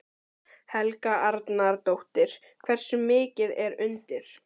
Helga Arnardóttir: Hversu mikið er undir?